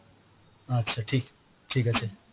আচ্ছা ঠিক, ঠিক আছে